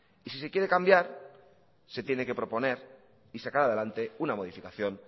y si se quiere cambiar se tiene que proponer y sacar adelante una modificación